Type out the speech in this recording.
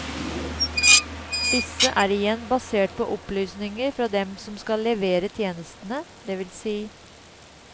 Disse er igjen basert på opplysninger fra dem som skal levere tjenestene, dvs.